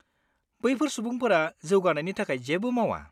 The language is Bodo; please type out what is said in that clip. बैफोर सुबुंफोरा जौगानायनि थाखाय जेबो मावा।